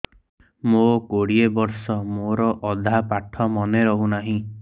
ମୋ କୋଡ଼ିଏ ବର୍ଷ ମୋର ଅଧା ପାଠ ମନେ ରହୁନାହିଁ